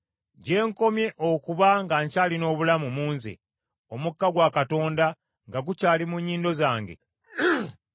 gye nkomye okuba nga nkyalina obulamu mu nze, omukka gwa Katonda nga gukyali mu nnyindo zange,